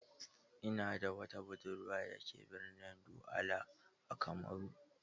Ina da wata budurwa da ke birnin Douala a Kamaru.